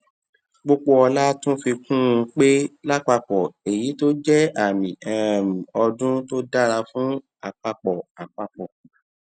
popoola tún fi kún un pé láàpapò èyí jé àmì um ọdún tó dára fún àpapò àpapò